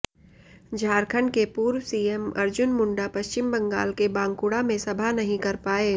झारखंड के पूर्व सीएम अर्जुन मुंडा पश्चिम बंगाल के बांकुड़ा में सभा नहीं कर पाए